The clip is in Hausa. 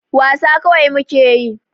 Wasa kawai muke yi.